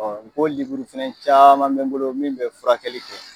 n ko liburu fɛnɛ caman bɛ n bolo min bɛ furakɛli kɛ.